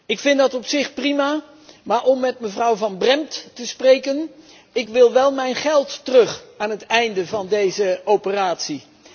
Ik vind dat op zich prima, maar om met mevrouw Van Brempt te spreken ik wil mijn geld wel terug aan het einde van deze operatie.